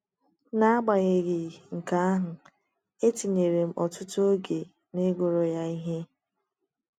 N’agbanyeghị nke ahụ, etinyere m ọtụtụ oge n’ịgụrụ ya ihe.